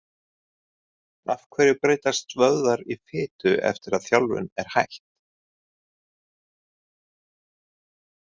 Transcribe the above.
Af hverju breytast vöðvar í fitu eftir að þjálfun er hætt?